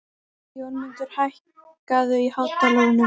Jónmundur, hækkaðu í hátalaranum.